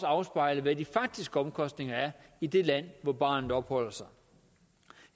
afspejle hvad de faktiske omkostninger er i det land hvor barnet opholder sig